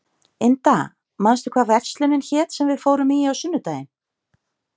Inda, manstu hvað verslunin hét sem við fórum í á sunnudaginn?